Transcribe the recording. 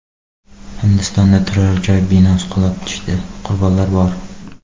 Hindistonda turar-joy binosi qulab tushdi, qurbonlar bor.